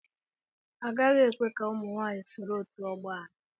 Agaghị ekwe ka ụmụ nwaanyị soro otu ọgbọ anyị.